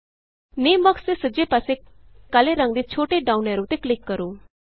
ਨਾਮੇ box ਦੇ ਸੱਜੇ ਪਾਸੇ ਕਾਲੇ ਰੰਗ ਦੇ ਛੋਟੇ ਡਾਉਨ ਐਰੋ ਤੇ ਕਲਿਕ ਕਰੋ